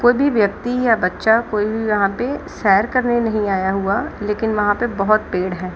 कोई भी व्यक्ति या बच्चा कोई भी यहां पे सैर करने नहीं आया लेकिन वहां पे बहुत पेड़ है।